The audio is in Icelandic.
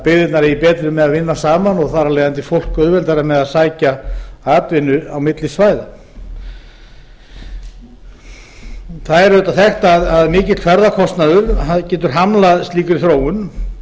byggðirnar eigi betra með að vinna saman og þar af leiðandi fólk auðveldara með að sækja atvinnu á milli svæða það er auðvitað þekkt að mikill ferðakostnaður getur hamlað slíkri þróun